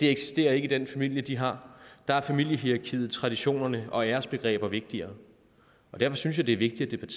eksisterer i den familie de har der er familiehierarkiet traditionerne og æresbegreberne vigtigere derfor synes jeg det er vigtigt at